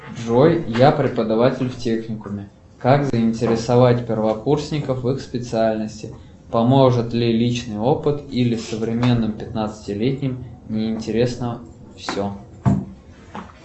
джой я преподаватель в техникуме как заинтересовать первокурсников в их специальности поможет ли личный опыт или современным пятнадцатилетним неинтересно все